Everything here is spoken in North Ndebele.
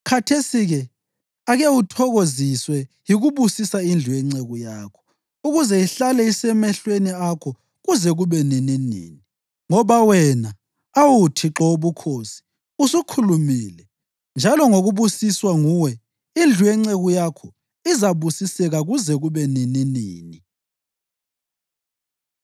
Khathesi-ke ake uthokoziswe yikubusisa indlu yenceku yakho, ukuze ihlale isemehlweni akho kuze kube nininini; ngoba wena, awu Thixo Wobukhosi, usukhulumile, njalo ngokubusiswa nguwe indlu yenceku yakho izabusiseka kuze kube nininini.”